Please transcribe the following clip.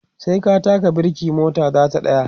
sai ka taka birke mota zata tsaya